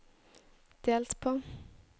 delt på